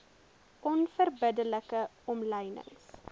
onverbidde like omlynings